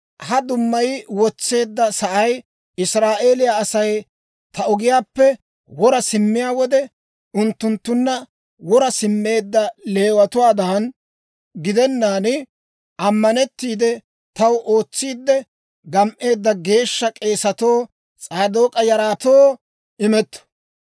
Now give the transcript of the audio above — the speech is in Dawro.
Ha dummay wotseedda sa'ay Israa'eeliyaa Asay ta ogiyaappe wora simmiyaa wode, unttunttunna wora simmeedda Leewatuwaadan gidennaan, ammanettiide taw ootsiidde gam"eedda, geeshsha k'eesatoo, S'aadook'a yaratoo imetto.